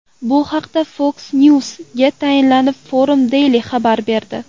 Bu haqda Fox News’ga tayanib, Forum Daily xabar berdi .